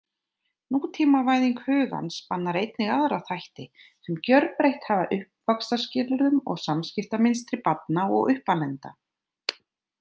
Nútímavæðing hugans spannar einnig aðra þætti, sem gjörbreytt hafa uppvaxtarskilyrðum og samskiptamynstri barna og uppalenda.